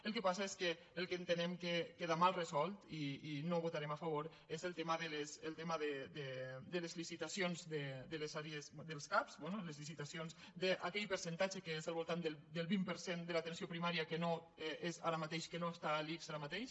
el que passa és que el que entenem que queda mal resolt i no hi votarem a favor és el tema de les licitacions dels cap bé les licitacions d’aquell percentatge que és al voltant del vint per cent de l’atenció primària que no és ara mateix que no està a l’ics ara mateix